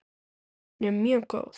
Hún er mjög góð.